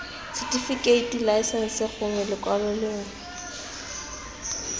setifikeiti laesense gongwe lekwalo lengwe